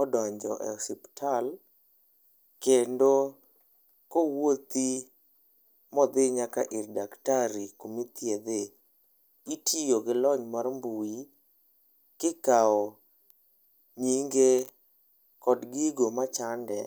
odonjo e osiptal kendo kowuothi modhi nyaka ir daktari kuma ithiedhe, itiyo gi lony mar mbui kikao nyinge kod gigo machande